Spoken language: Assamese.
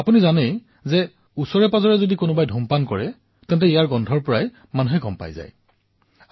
আপোনালোকে জানেই যে যেতিয়া কোনোবাই আমাৰ ওচৰেপাজৰে ধুমপান কৰে তেন্তে ইয়াৰ গোন্ধৰ ফলতেই গম পোৱা যায়